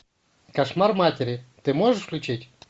кошмар матери ты можешь включить